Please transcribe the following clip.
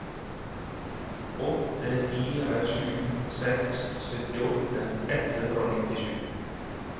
åtte fire sju seks syttiåtte ett hundre og nittisju